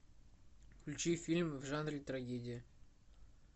включи фильм в жанре трагедия